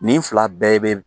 Nin fila bɛɛ be